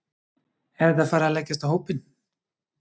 Er þetta farið að leggjast á hópinn?